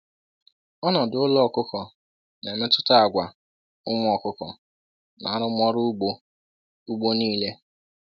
“Ọnọdụ ụlọ ọkụkọ na-emetụta àgwà ụmụ ọkụkọ na arụmọrụ ugbo ugbo niile